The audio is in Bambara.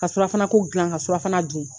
Ka surafana ko gilan ka surafana dun.